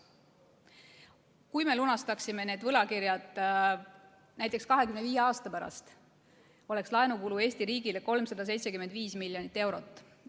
Kui me lunastaksime need võlakirjad näiteks 25 aasta jooksul, siis oleks laenukulu Eesti riigile 375 miljonit eurot.